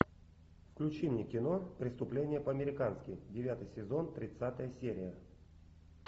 включи мне кино преступление по американски девятый сезон тридцатая серия